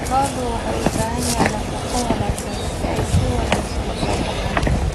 Lo'du waxay u baahan yihiin nafaqo wanaagsan si ay si wanaagsan u soo baxaan.